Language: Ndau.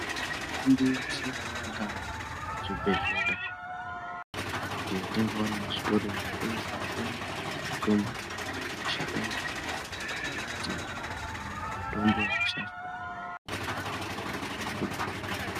Mitombo yeshe ingaa muzvibhedhlera kana kuti yatingawana muzvitoro zvinotengesa mitombo, mitombo yakabva kumashakani embiti . Ndiyo mitombo yaishandiswa kudhaya ngemadzitateguru edu.